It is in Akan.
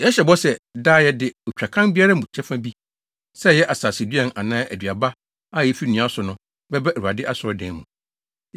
“Yɛhyɛ bɔ sɛ, daa yɛde otwakan biara mu kyɛfa bi, sɛ ɛyɛ asaseduan anaa aduaba a efi nnua so no, bɛba Awurade Asɔredan mu.